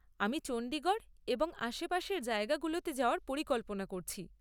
আমি চণ্ডীগড় এবং আশেপাশের জায়গাগুলোতে যাওয়ার পরিকল্পনা করছি।